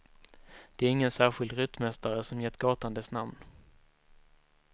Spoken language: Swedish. Det är ingen särskild ryttmästare som gett gatan dess namn.